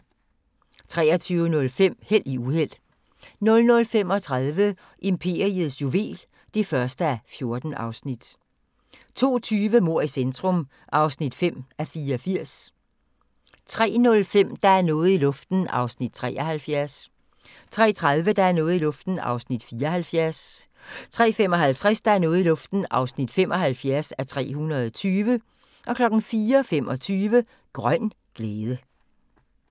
23:05: Held i uheld 00:35: Imperiets juvel (1:14) 02:20: Mord i centrum (5:84) 03:05: Der er noget i luften (73:320) 03:30: Der er noget i luften (74:320) 03:55: Der er noget i luften (75:320) 04:25: Grøn glæde